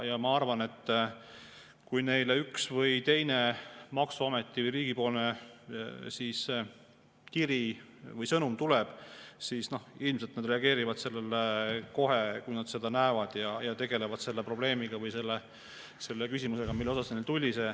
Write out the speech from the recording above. Ja ma arvan, et kui neile üks või teine maksuameti või riigi kiri või sõnum tuleb, siis ilmselt nad reageerivad sellele kohe, kui nad seda näevad, ja tegelevad selle probleemi või küsimusega, mille kohta kiri tuli.